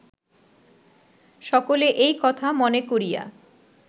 সকলে এই কথা মনে করিয়া